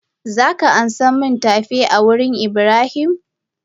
Zaka amsa min tafe a wurin Ibrahim?